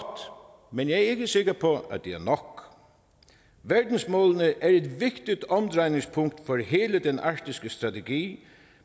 men jeg er ikke sikker på at det er nok verdensmålene er et vigtigt omdrejningspunkt for hele den arktiske strategi